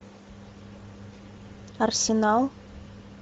арсенал